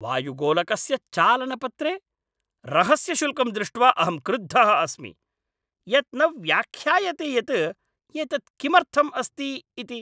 वायुगोलकस्य चालनपत्रे रहस्यशुल्कं दृष्ट्वा अहं क्रुद्धः अस्मि, यत् न व्याख्यायते यत् एतत् किमर्थम् अस्ति इति।